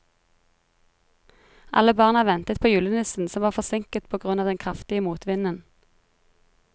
Alle barna ventet på julenissen, som var forsinket på grunn av den kraftige motvinden.